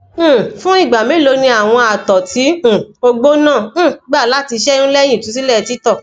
um fun igba melo ni awọn àtọ ti um ogbo naa um gba lati ṣeyun lẹhin itusilẹ titọ